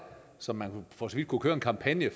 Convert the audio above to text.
så man for så vidt kunne køre en kampagne